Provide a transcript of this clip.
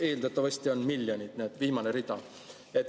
Eeldatavasti on need miljonid, viimane rida.